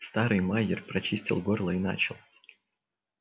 старый майер прочистил горло и начал